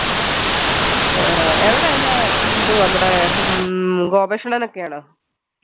ഏർ എവിടെ എല്ലാ തും അവിടെ ഹും ക്കെ ആണോ